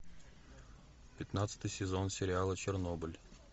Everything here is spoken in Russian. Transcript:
пятнадцатый сезон сериала чернобыль